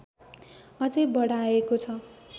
अझै बढाएको छ